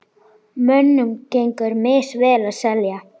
Mönnum gengur misvel að selja.